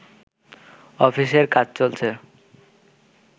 অফিসের কাজ চলছে